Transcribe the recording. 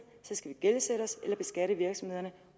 skal vi gældsætte os eller beskatte virksomhederne